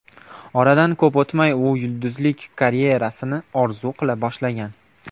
Oradan ko‘p o‘tmay u yulduzlik karyerasini orzu qila boshlagan.